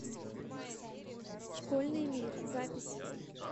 школьный мир запись